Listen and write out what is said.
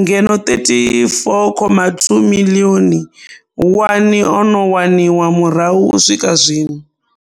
ngeno a R34.2 miḽioni one o no waniwa murahu u swika zwino.